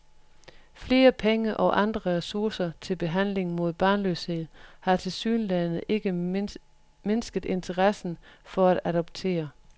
Flere penge og andre ressourcer til behandling mod barnløshed har tilsyneladende ikke mindsket interessen for at adoptere.